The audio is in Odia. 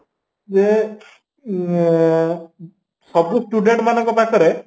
ଯେ ଆଁ ସବୁ student ମାନଙ୍କ ପାଖରେ